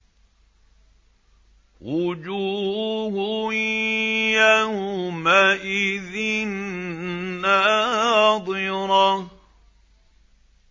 وُجُوهٌ يَوْمَئِذٍ نَّاضِرَةٌ